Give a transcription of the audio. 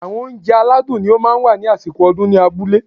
Àwọn óunjẹ aládùn ni ó máa ń wà ní àsìkò ọdún ní abúlé